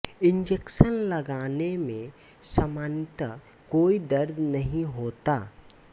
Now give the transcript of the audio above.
injection लगाने में सामान्यतः कोई दर्द नहीं होता है